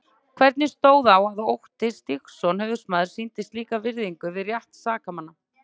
Hvernig stóð á að Otti Stígsson höfuðsmaður sýndi slíka virðingu við rétt sakamanna?